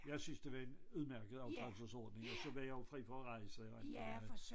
Jeg syntes det var en udmærket aftrædelsesordning og så var jeg jo fri fra at rejse og alt det der